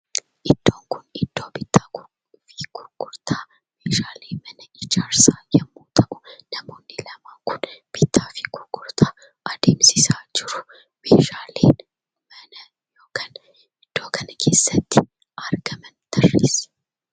Iddoon kun iddoo bittaa fi gurgurtaa meeshalee mana ijaarsaa yemmuu ta'u namoonni lama kun bittaa fi gurgurtaa adeemsisaa jiru. Meeshaaleen mana yookaan iddoo kana keessatti argaman tarreessi.